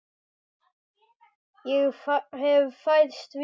Ég hef fæðst víða.